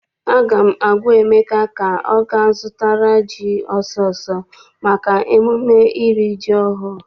Aga m agwa Emeka ka ọ ga zụtara ji ọsọ ọsọ maka emume iri ji ọhụụ!